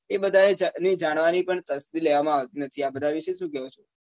એ બધા એ જાણવા ની પણ કશ્તી લેવા માં આવતી નથી આ બધા વિશે શું કેવું છે